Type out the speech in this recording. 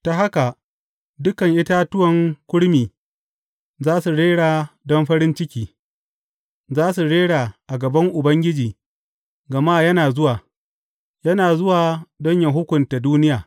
Ta haka dukan itatuwan kurmi za su rera don farin ciki; za su rera a gaban Ubangiji, gama yana zuwa, yana zuwa don yă hukunta duniya.